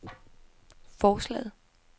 forslaget